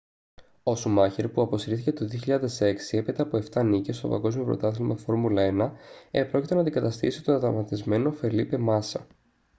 ο σουμάχερ που αποσύρθηκε το 2006 έπειτα από 7 νίκες στο παγκόσμιο πρωτάθλημα φόρμουλα 1 επρόκειτο να αντικαταστήσει τον τραυματισμένο φελίπε μάσα